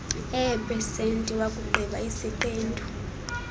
eepesenti wakugqiba isiqendu